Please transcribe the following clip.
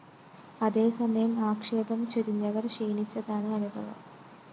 അതേ സമയം ആക്ഷേപം ചൊരിഞ്ഞവര്‍ ക്ഷീണിച്ചതാണ് അനുഭവം